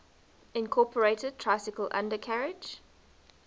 incorporated tricycle undercarriage